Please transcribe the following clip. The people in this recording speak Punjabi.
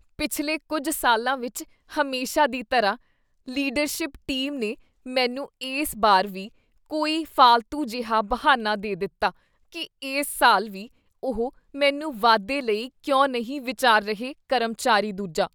ਪਿਛਲੇ ਕੁੱਝ ਸਾਲਾਂ ਵਿੱਚ ਹਮੇਸ਼ਾ ਦੀ ਤਰ੍ਹਾਂ, ਲੀਡਰਸ਼ਿਪ ਟੀਮ ਨੇ ਮੈਨੂੰ ਇਸ ਬਾਰ ਵੀ ਕੋਈ ਫਾਲਤੂ ਜਿਹਾ ਬਹਾਨਾ ਦੇ ਦਿੱਤਾ ਕੀ ਇਸ ਸਾਲ ਵੀ ਉਹ ਮੈਨੂੰ ਵਾਧੇ ਲਈ ਕਿਉਂ ਨਹੀਂ ਵਿਚਾਰ ਰਹੇ ਕਰਮਚਾਰੀ ਦੂਜਾ